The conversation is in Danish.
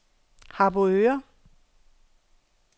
Harboøre